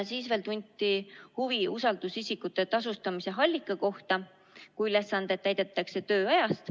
Veel tunti huvi usaldusisikute tasustamise allika kohta, kui ülesandeid täidetakse tööajast.